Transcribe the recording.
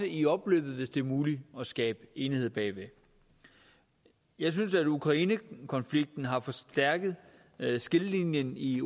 i opløbet hvis det er muligt at skabe enighed bag jeg synes at ukrainekonflikten har forstærket skillelinjen i